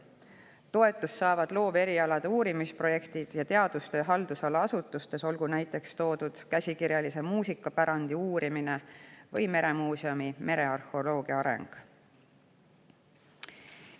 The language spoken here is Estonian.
Toetust saavad looverialade uurimisprojektid ja teadustöö haldusala asutustes, olgu näiteks toodud käsikirjalise muusikapärandi uurimine või merearheoloogia areng meremuuseumis.